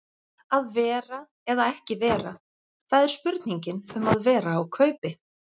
Að vera eða ekki vera, það er spurningin um að vera á kaupi.